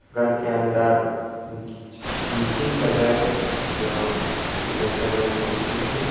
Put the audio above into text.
घर के अंदर मीटिंग चल रहा है जो लइका लोगों का मीटिंग है।